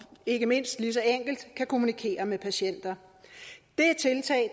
ikke mindst lige så enkelt kan kommunikere med patienter